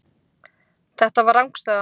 Þetta var rangstæða.